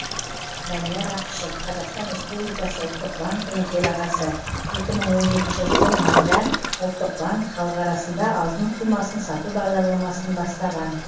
данияр ақышев қазақстан республикасы ұлттық банкінің төрағасы екі мың он жетінші жылы мамырда ұлттық банк халық арасында алтын құймасын сату бағдарламасын бастаған